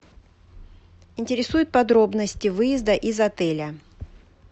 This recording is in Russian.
интересуют подробности выезда из отеля